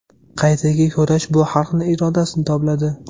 Qaytaga kurash bu xalqni irodasini tobladi.